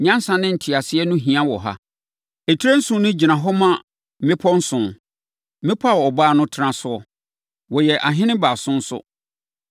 “Nyansa ne nteaseɛ ho hia wɔ ha. Etire nson no gyina hɔ ma mmepɔ nson, mmepɔ a ɔbaa no tena so. Wɔyɛ ahene baason nso